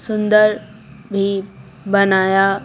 सुंदर भी बनाया।